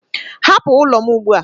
Hapụ ụlọ m ugbu a!